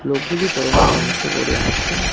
লোকগুলি পরনে গামছা পরে আছে।